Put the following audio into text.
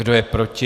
Kdo je proti?